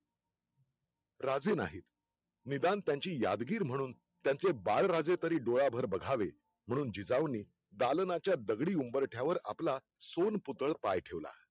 राजे नाहीत, निदान त्यांची यादगीर म्हणून, त्याचें बाळराजे तरी डोळ्याभर बघावे, म्हणून जिजाऊंनी दालण्याचा दगडी उंबरठ्यावर आपला सोनपुतळ पाय ठेवला